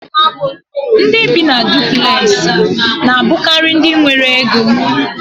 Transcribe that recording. Ndị bi na dupulexi na abukari ndị nwéré Égó